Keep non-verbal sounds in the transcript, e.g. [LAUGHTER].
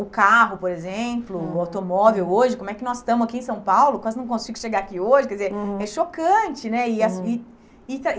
O carro, por exemplo, o automóvel hoje, como é que nós estamos aqui em São Paulo, quase não consigo chegar aqui hoje, quer dizer, é chocante, né? E [UNINTELLIGIBLE]